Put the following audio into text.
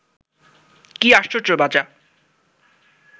কি আশ্চর্য বাঁচা